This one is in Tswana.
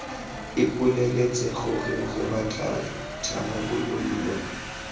ipoleletse gore re batla tharabololo